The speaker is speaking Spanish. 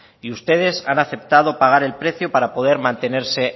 y ustedes han aceptado pagar el precio para poder mantenerse